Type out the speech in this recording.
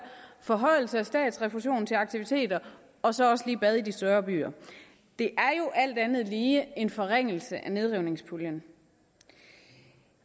forhøjelse af statsrefusion til aktiviteter og så også lige bad i de større byer det er alt andet lige en forringelse af nedrivningspuljen